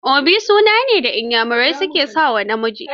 Obi suna ne da Inyamurai su ke sa wa namiji.